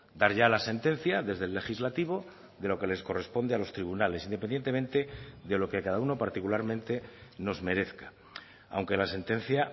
dar ya la sentencia desde el legislativo de lo que les corresponde a los tribunales independientemente de lo que cada uno particularmente nos merezca aunque la sentencia